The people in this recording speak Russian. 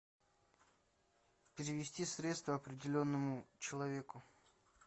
перевести средства определенному человеку